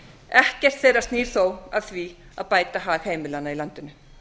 ekkert þeirra snýr þó að því að bæta hag heimilanna í landinu